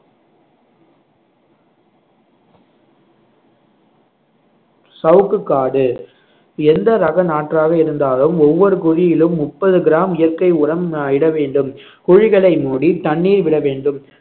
சவுக்குக்காடு எந்த ரக நாற்றாக இருந்தாலும் ஒவ்வொரு குழியிலும் முப்பது கிராம் இயற்கை உரம் அஹ் இட வேண்டும் குழிகளை மூடி தண்ணீர் விட வேண்டும்